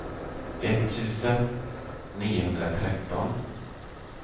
etttusen niohundratretton